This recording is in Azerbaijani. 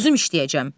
Özüm işləyəcəm.